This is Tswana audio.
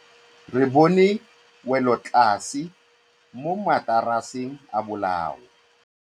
Re bone wêlôtlasê mo mataraseng a bolaô.